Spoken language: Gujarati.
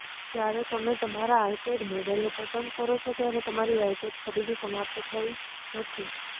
જ્યારે તમે તમારા આઈપેડ મોડેલને પસંદ કરો છો ત્યારે તમારી આઈપેડ ખરીદી સમાપ્ત થઈ નથી